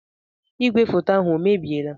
Ìgwè foto ahụ o mebiela?